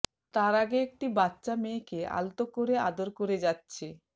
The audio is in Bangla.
তার আগে একটি বাচ্চা মেয়েকে আলতো করে আদর করে যাচ্ছে